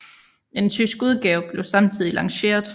En tysk udgave blev samtidig lanceret